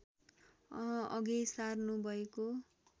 अघि सार्नु भएको